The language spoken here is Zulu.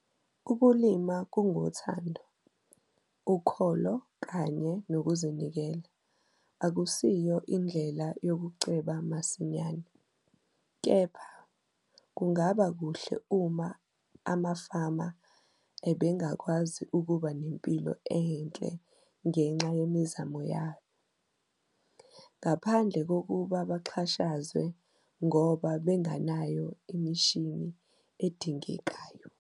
Ukulima kungothando, ukholo kanye nokuzinikela - akusiyo indlela "yokuceba masinyane", kepha, kungaba kuhle uma amafama ebengakwazi ukuba nempilo enhle ngenxa yemizamo yabo, ngaphandle kokuba baxhashazwe ngob abengenayo imishini edingekayo.